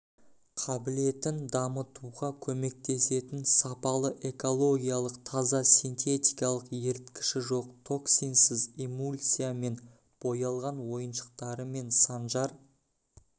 қабілетін дамытуға көмектесетін сапалы экологиялық таза синтетикалық еріткіші жоқ токсинсіз эмульсия мен боялған ойыншықтарымен санжар